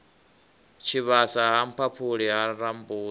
tshivhasa ha mphaphuli ha rambuḓa